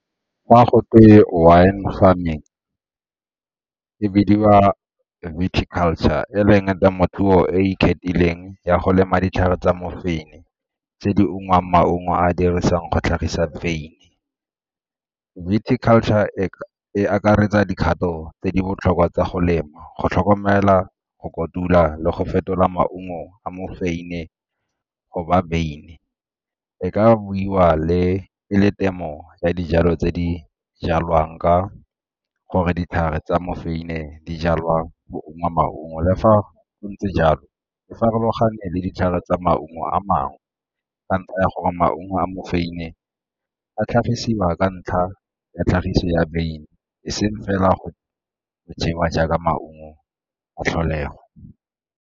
Fa go twe wine farming, e bidiwa viticulture e leng temothuo e ikgethileng ya go lema ditlhare tsa mofeini tse di ungwang maungo a dirisang go tlhagisa . Viticulture e e akaretsa dikgato tse di botlhokwa tsa go lema go tlhokomela go kotula le go fetola maungo a mofeini e goba beine. E ka buiwa le e le temo ya dijalo tse di jalwang ka gore ditlhare tsa mofeini di jalwa go ungwa maungo. Le fa go ntse jalo e farologane le ditlhare tsa maungo a mangwe ka ntlha ya gore maungo a mofeini a tlhagisiwa ka ntlha ya tlhagiso ya e seng fela go jewa jaaka maungo a tlholego.